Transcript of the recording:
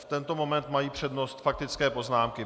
V tento moment mají přednost faktické poznámky.